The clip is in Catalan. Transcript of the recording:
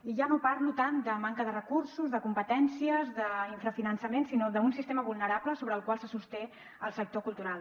i ja no parlo tant de manca de recursos de competències d’infrafinançament sinó d’un sistema vulnerable sobre el qual se sosté el sector cultural